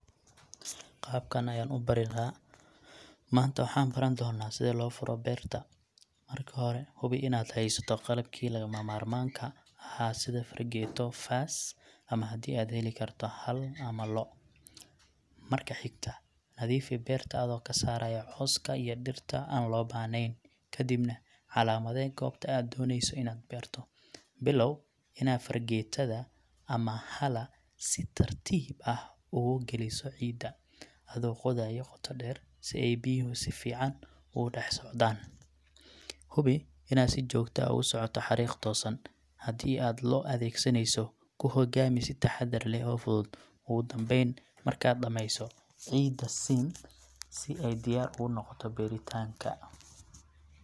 Qaabkan ayan ubarii laa, manta waxay baran dona sidha lofalo berta, marka xore hubii inad xeysato qalabki lagamarmanka, xaa sida fargeto, faas ama xadhi aad xelikarto xaal ama labo loo, marka xigta, nadiifi berta adiha kasaraya cooska iyo dirta an lobaxneyn, kadibna calamade gobta aad doneyso inad berto, bilow ina fargeta ama xala si tartib ah ogukaliso cida, adho qoodayo goota deer sii ay biyaxa sufican ogu daxsocdan, xubii inad si jogta ah ogu socoto larig tosan, xadhi aad loo adegsaneyso ku xogamii sii taxadar leh oo fudud, ogu dambeyn marka dameyso, ciid siin si ay diyar unogoto beritanka.